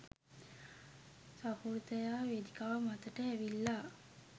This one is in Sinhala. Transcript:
සහෘදයා වේදිකාව මතට ඇවිල්ලා.